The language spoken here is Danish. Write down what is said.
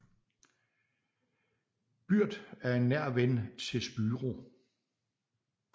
Byrd er en nær ven til Spyro